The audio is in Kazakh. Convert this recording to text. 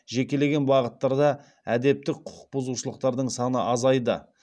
жекелеген бағыттарда әдептік құқық бұзушылықтардың саны азайды